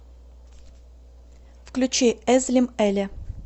включи эзлим эле